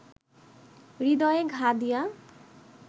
হৃদয়ে ঘা দিয়া